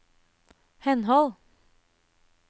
henhold